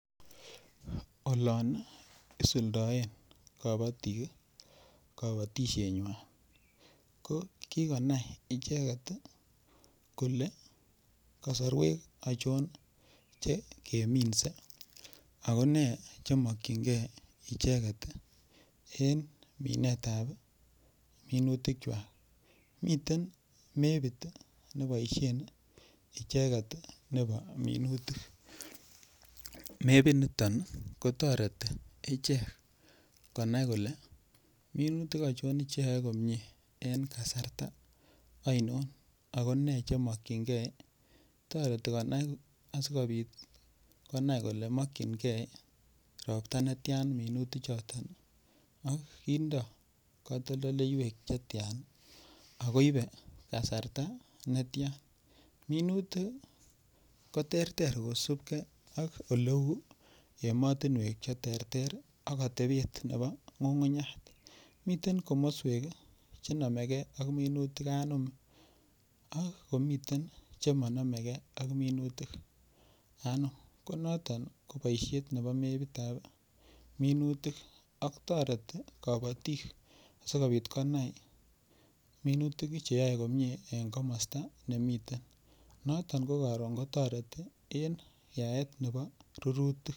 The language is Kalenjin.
Olon isuldaen kabatik kabatishenywai ko kikonam icheget kole kasorwek achon chekeminsei ako nee chemokchingei icheget en minetab minutikchwa miten mepit neboishen icheget nebo minutik mepit niton kotoreti ichek konai kole minutik achon cheyoei komye en kasarta aino ako nee chemokchingei toreti konai asikobit konai kole mokchingei ropta netya minutichoto ak kindoi katoldoleiwek chetchan ako ibe kasarta netya minutik koterter kosupkei ak oleu emotinwek cheterter ak atepet nebo ng'ungunyek miten komoswek chenomegei ak minutik anom ak komiten chemanomegei ak minutik anom ko noton ko boishet nebo mepitab minutik ak toreti kabotik sikobit konai minutik cheyoei komye eng' komosta nemiten noton ko karon kotoreti en yaet nebo rurutik